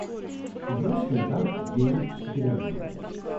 یہ اوس كٕمۍ تام جیمز سِکنرن بنوومُت ۔